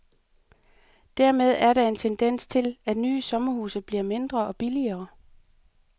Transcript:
Dermed er der en tendens til, at nye sommerhuse bliver mindre og billigere.